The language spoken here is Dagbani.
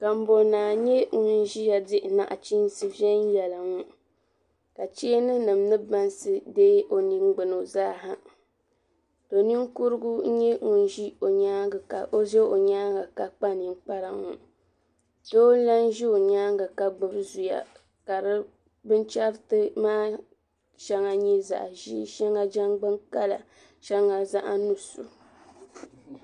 Kabonnaa nye ŋun ʒiya diɣi naɣichiinsi vɛyelinga ka cheeni nim ni baŋsi dee o ningbuno zaa ha do ninkurugu n nyɛ ŋun ʒɛ o nyaanga ka o ʒɛ o nyaanga ka kpa ninkpara ŋɔ doo lan ʒi o nyaanga ka gbubi zuya ka di binchariti maa nye zaɣi ʒee sheŋa jangbuni kala sheŋa zaɣi nusu.